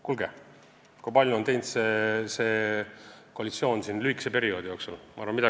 Kuulge, näete ju, kui palju on see koalitsioon lühikese perioodi jooksul teinud!